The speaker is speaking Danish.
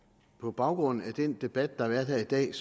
på baggrund af den debat der har været her i dag